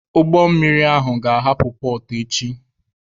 Ụgbọ mmiri ahụ ga-ahapụ pọọt echi.